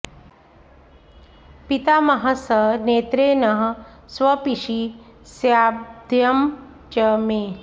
पितामहः स नेत्रे नः स्वपिषि स्याद्भयं च मे